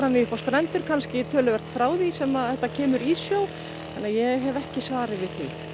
því upp á strendur kannski töluvert frá því sem að þetta kemur í sjó þannig að ég hef ekki svarið við